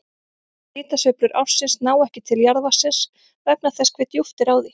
Hitasveiflur ársins ná ekki til jarðvatnsins vegna þess hve djúpt er á því.